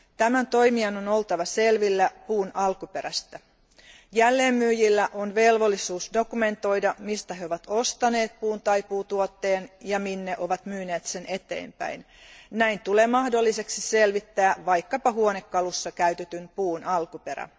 Tämän toimijan on oltava selvillä puun alkuperästä. Jälleenmyyjillä on velvollisuus dokumentoida, mistä he ovat ostaneet puun tai puutuotteen ja minne ne ovat myyneet sen eteenpäin. Näin tulee mahdolliseksi selvittää vaikkapa huonekalussa käytetyn puun alkuperä.